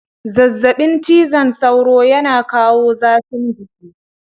Zazzabin cizon sauro yana kawo zafin jiki.